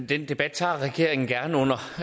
den debat tager regeringen gerne